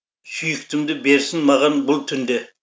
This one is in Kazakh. сүйіктімді берсін маған бұл түнде